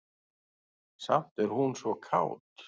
Samt er hún svo kát.